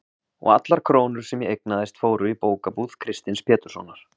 og allar krónur sem ég eignaðist fóru í bókabúð Kristins Péturssonar.